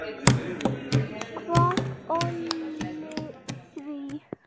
Hvað olli því?